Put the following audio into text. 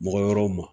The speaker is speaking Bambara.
Mɔgɔ wɛrɛw ma